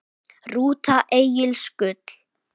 Rúta Egils Gull